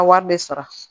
A wari bɛ sara